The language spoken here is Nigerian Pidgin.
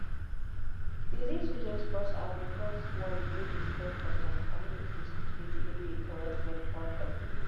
disease way just burst out dey cause worry way dey spread for some communities which dey delay the correct medical help.